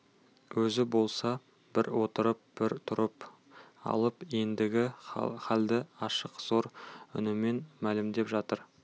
өзі болса бір отырып бір тұрып алып ендігі халді ашық зор үнімен мәлімдеп жатыр